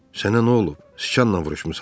Sənə nə olub, sıçanla vuruşmusan?